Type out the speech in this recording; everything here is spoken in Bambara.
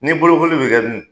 Ni bolokoli be kɛ dun ?